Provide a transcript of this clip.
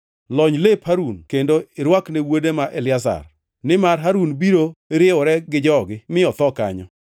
Lony lep Harun kendo irwakne wuode ma Eliazar, nimar Harun biro riwore gi jogi; mi otho kanyo.”